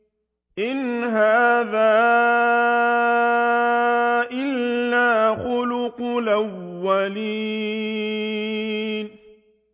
إِنْ هَٰذَا إِلَّا خُلُقُ الْأَوَّلِينَ